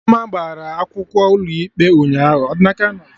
Chioma gbara akwụkwọ ụlọ ikpe ụnyaahụ